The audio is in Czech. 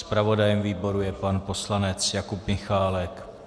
Zpravodajem výboru je pan poslanec Jakub Michálek.